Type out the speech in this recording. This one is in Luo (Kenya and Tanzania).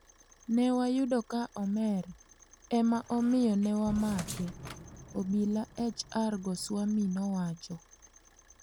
"ne wayudo ka omer, ema omiyo ne wamake," obila HR Goswami nowacho.